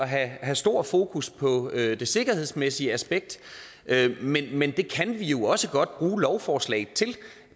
have stor fokus på det det sikkerhedsmæssige aspekt men men det kan vi jo også godt bruge lovforslaget til